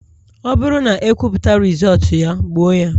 Ọ bụrụ na ekwuputa Rịzọọtu ya, gbuo ya